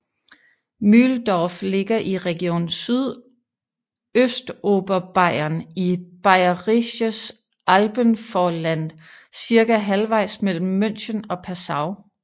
Mühldorf ligger i region Sydøstoberbayern i Bayerisches Alpenvorland cirka halvejs mellem München og Passau